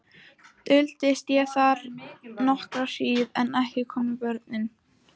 Duldist ég þar nokkra hríð en ekki komu börnin.